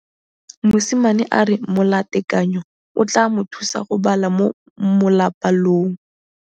Mosimane a re molatekanyô o tla mo thusa go bala mo molapalong.